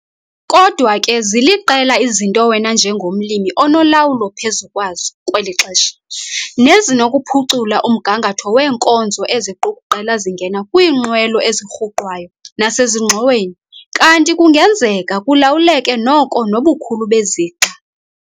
Kodwa ke ziliqela izinto wena njengomlimi onolawulo phezu kwazo kweli xesha nezinokuphucula umgangatho weenkozo eziqukuqela zingena kwiinqwelo ezirhuqwayo nasezingxoweni kanti kungenzeka kulawuleke noko nobukhulu bezixa.